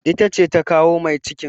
Ita ce ta kawo mai cikin.